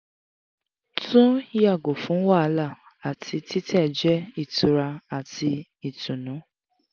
tun yago fun wahala ati titẹ jẹ itura ati itunu